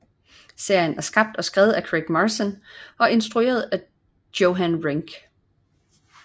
Serien er skabt og skrevet af Craig Mazin og instrueret af Johan Renck